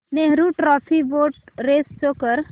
Nehru trophy boat race show कर